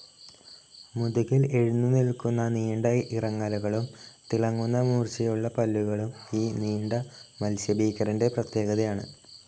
മുതുകിൽ എഴുന്നു നിൽക്കുന്ന നീണ്ട ഇറങ്ങലുകളും തിളങ്ങുന്ന മൂർച്ചയുള്ള പല്ലുകളും ഈ നീണ്ട മത്സ്യഭീകരന്റെ പ്രത്യേകതയാണ്.